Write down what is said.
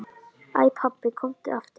Æ pabbi, komdu aftur.